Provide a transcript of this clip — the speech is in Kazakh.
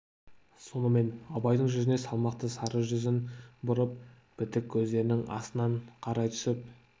сонымен абайдың жүзіне салмақты сары жүзін бұрып бітік көздерінің астынан қарай түсіп